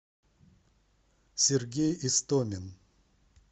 сергей истомин